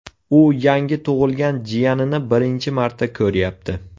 U yangi tug‘ilgan jiyanini birinchi marta ko‘ryapti.